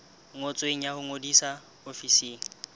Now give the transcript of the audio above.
ngotsweng ya ho ngodisa ofising